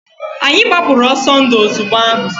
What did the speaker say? Anyị gbapụrụ ọsọ ndu ozugbo ahụ.